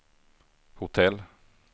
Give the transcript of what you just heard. hotell